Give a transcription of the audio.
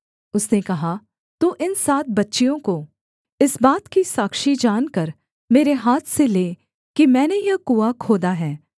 उसने कहा तू इन सात बच्चियों को इस बात की साक्षी जानकर मेरे हाथ से ले कि मैंने यह कुआँ खोदा है